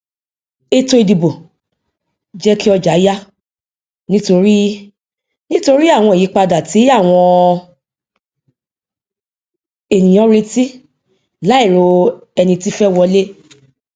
ètò ìdìbò jẹ kí ọjà yà nítorí nítorí àwọn ìyípadà tí àwọn ènìyàn retí láì ro ẹni tí fẹ wọlé